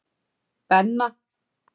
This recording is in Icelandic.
Benna